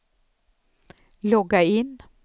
logga in